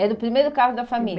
Era o primeiro carro da família.